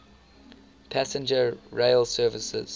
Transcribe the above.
passenger rail services